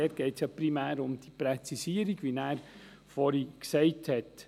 Dort geht es primär um die Präzisierung, wie er dies erwähnt hat.